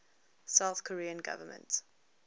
south korean government